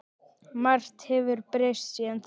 Margt hefur breyst síðan þá.